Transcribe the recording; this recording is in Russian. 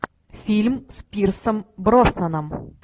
фильм с пирсом броснаном